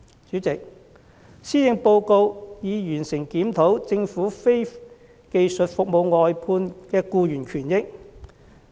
主席，施政報告提到已完成檢討政府非技術服務外判的僱員權益。